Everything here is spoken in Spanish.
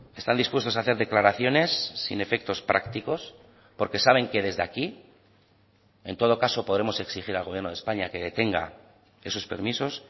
están dispuestos a hacer declaraciones sin efectos prácticos porque saben que desde aquí en todo caso podremos exigir al gobierno de españa que detenga esos permisos